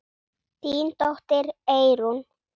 Þín dóttir, Eyrún.